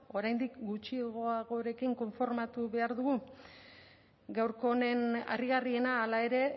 oraindik gutxiagorekin konformatu behar dugu gaurko honen harrigarriena hala ere